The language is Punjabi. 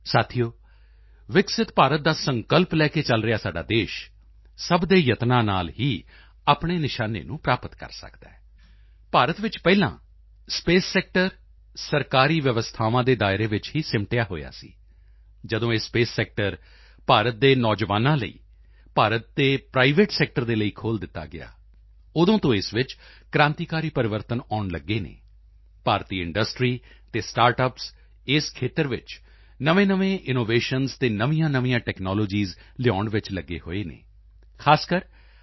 ਸਾਥੀਓ ਵਿਕਸਿਤ ਭਾਰਤ ਦਾ ਸੰਕਲਪ ਲੈ ਕੇ ਚੱਲ ਰਿਹਾ ਸਾਡਾ ਦੇਸ਼ ਸਭ ਦੇ ਯਤਨਾਂ ਨਾਲ ਹੀ ਆਪਣੇ ਨਿਸ਼ਾਨੇ ਨੂੰ ਪ੍ਰਾਪਤ ਕਰ ਸਕਦਾ ਹੈ ਭਾਰਤ ਵਿੱਚ ਪਹਿਲਾ ਸਪੇਸ ਸੈਕਟਰ ਸਰਕਾਰੀ ਵਿਵਸਥਾਵਾਂ ਦੇ ਦਾਇਰੇ ਵਿੱਚ ਹੀ ਸਿਮਟਿਆ ਹੋਇਆ ਸੀ ਜਦੋਂ ਇਹ ਸਪੇਸ ਸੈਕਟਰ ਭਾਰਤ ਦੇ ਨੌਜਵਾਨਾਂ ਲਈ ਭਾਰਤ ਦੇ ਪ੍ਰਾਈਵੇਟ ਸੈਕਟਰ ਦੇ ਲਈ ਖੋਲ੍ਹ ਦਿੱਤਾ ਗਿਆ ਉਦੋਂ ਤੋਂ ਇਸ ਵਿੱਚ ਕ੍ਰਾਂਤੀਕਾਰੀ ਪਰਿਵਰਤਨ ਆਉਣ ਲਗੇ ਹਨ ਭਾਰਤੀ ਇੰਡਸਟਰੀ ਅਤੇ ਸਟਾਰਟ ਅੱਪਸ ਇਸ ਖੇਤਰ ਵਿੱਚ ਨਵੇਂਨਵੇਂ ਇਨਵੈਨਸ਼ਨਜ਼ ਅਤੇ ਨਵੀਆਂਨਵੀਆਂ ਟੈਕਨਾਲੋਜੀਸ ਲਿਆਉਣ ਵਿੱਚ ਲਗੇ ਹੋਏ ਹਨ ਖਾਸਕਰ ਆਈ